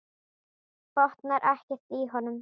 Botnar ekkert í honum.